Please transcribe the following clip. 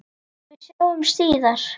Við sjáumst síðar.